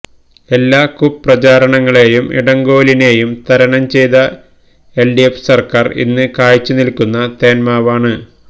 എല്ലാ കുപ്രചാരണങ്ങളെയും ഇടങ്കോലിടലിനെയും തരണംചെയ്ത എൽഡിഎഫ് സർക്കാർ ഇന്ന് കായ്ച്ചുനിൽക്കുന്ന തേന്മാവാണ്